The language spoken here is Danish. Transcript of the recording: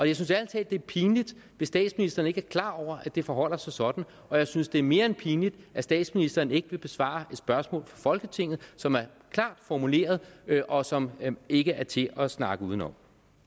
jeg synes ærlig talt det er pinligt hvis statsministeren ikke er klar over at det forholder sig sådan og jeg synes det er mere end pinligt at statsministeren ikke vil besvare et spørgsmål fra folketinget som er klart formuleret og som ikke er til at snakke udenom